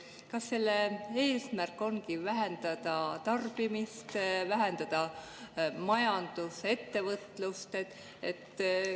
" Kas selle eesmärk ongi vähendada tarbimist ja vähendada ettevõtlust?